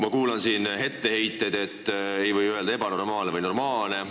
Ma kuulan siin neid etteheiteid, et ei või öelda "ebanormaalne" või "normaalne".